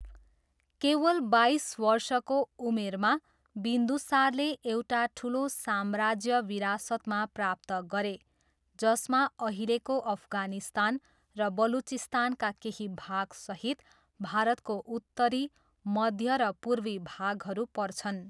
केवल बाइस वर्षको उमेरमा, बिन्दुसारले एउटा ठुलो साम्राज्य विरासतमा प्राप्त गरे जसमा अहिलेको अफगानिस्तान र बलुचिस्तानका केही भागसहित भारतको उत्तरी, मध्य र पूर्वी भागहरू पर्छन्।